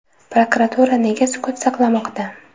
Prokuratura nega sukut saqlamoqda?